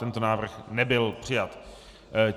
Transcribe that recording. Tento návrh nebyl přijat.